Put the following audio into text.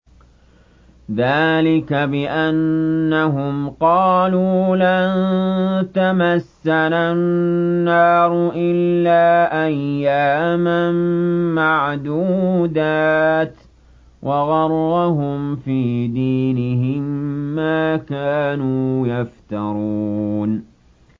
ذَٰلِكَ بِأَنَّهُمْ قَالُوا لَن تَمَسَّنَا النَّارُ إِلَّا أَيَّامًا مَّعْدُودَاتٍ ۖ وَغَرَّهُمْ فِي دِينِهِم مَّا كَانُوا يَفْتَرُونَ